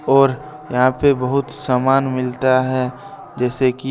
और यहां पर बहुत सामान मिलता है जैसे की--